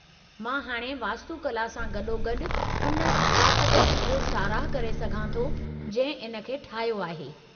मां हाणे वास्तुकला सां गॾोगॾु उन सक़ाफ़त जी बि साराहु करे सघां थो जंहिं इन खे ठाहियो आहे।